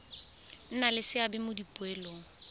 nna le seabe mo dipoelong